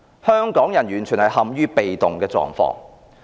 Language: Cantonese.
香港人完全陷於被動。